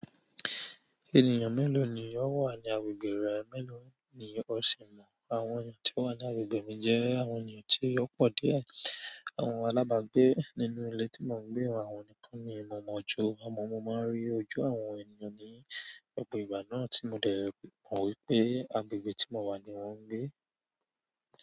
Ènìyàn mélòó ni ọ wà ní agbègbè rẹ, mẹ́lọ̀ọ́ ni o sì mọ̀? Àwọn ènìyàn tí ó wà ní agbègbè mi jẹ́ àwọn ènìyàn tí ó pọ̀ díẹ̀. Àwọn alábàgbé nínú ilé tí mò ń gbé wà, àwọn ni kán ní mo mọ̀ ju. Àmọ́ mo máa ń rí ojú àwọn ènìyàn ní gbogbo ìgbà náà tí mo dẹ̀ mọ̀ wípé agbègbè tí mo wà ni wọ́n ń gbé.